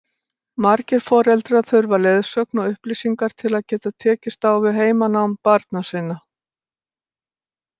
Margir foreldrar þurfa leiðsögn og upplýsingar til að geta tekist á við heimanám barna sinna.